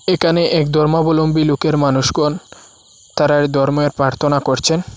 একানে একধর্মাবলম্বী লোকের মানুষগণ তারা ধর্মের প্রার্থনা করছেন।